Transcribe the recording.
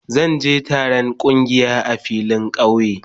Zan je je taron kungiya a filin kauye.